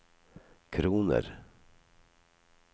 kroner